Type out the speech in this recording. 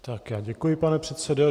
Tak, já děkuji, pane předsedo.